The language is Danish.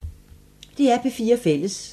DR P4 Fælles